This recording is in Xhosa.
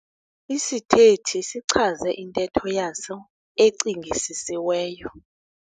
Isithethi sichaze intetho yaso ecingisisiweyo.